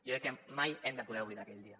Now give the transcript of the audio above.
jo crec que mai hem de poder oblidar aquell dia